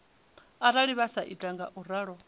arali vha sa ita ngauralo